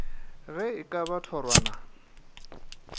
ge e ka ba thorwana